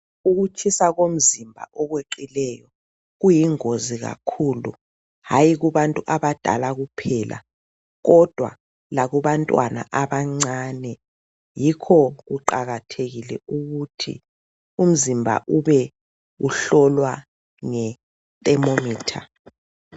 Ukutshisa komzimba okweqileyo kuyingozi kakhulu hayi kubantu abadala kuphela kodwa lakubantwana abancane .Yikho kuqakathekile ukuthi umzimba ube uhlolwa nge thermometer.